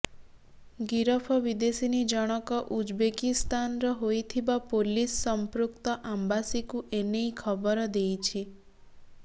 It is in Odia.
ଗିରଫ ବିଦେଶିନୀ ଜଣକ ଉଜବେକିସ୍ଥାନର ହୋଇଥିବା ପୋଲିସ ସଂପୃକ୍ତ ଆମ୍ବାସିକୁ ଏନେଇ ଖବର ଦେଇଛି